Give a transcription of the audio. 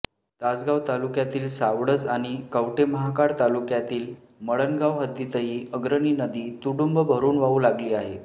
तासगाव तालुक्यातील सावळज आणि कवठेमहाकाळ तालुक्यातील मळणगाव हद्दीतही अग्रणी नदी तुडूंब भरुन वाहू लागली आहे